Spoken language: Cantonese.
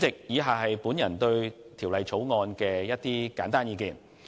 以下簡述我對《條例草案》的意見。